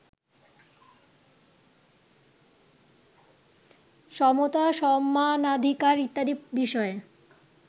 সমতা সমানাধিকার ইত্যাদি বিষয়ে